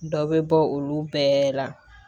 Dɔ bɛ bɔ olu bɛɛ la